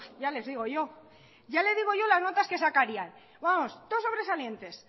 ya les digo yo ya le digo yo las notas que sacarían vamos todo sobresalientes